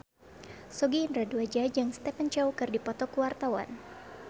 Sogi Indra Duaja jeung Stephen Chow keur dipoto ku wartawan